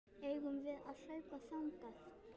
Eigum við að hlaupa þangað?